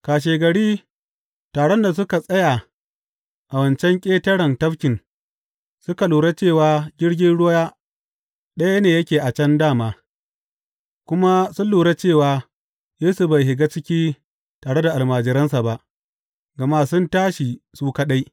Kashegari taron da suka tsaya a wancan ƙetaren tafkin suka lura cewa jirgin ruwa ɗaya ne yake a can dā ma, kuma sun lura cewa Yesu bai shiga ciki tare da almajiransa ba, gama sun tashi su kaɗai.